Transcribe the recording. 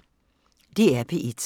DR P1